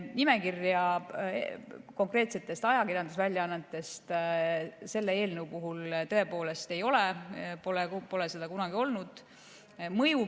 Nimekirja konkreetsetest ajakirjandusväljaannetest selle eelnõu puhul tõepoolest ei ole, pole kunagi olnud.